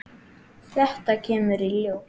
Þetta kemur í ljós!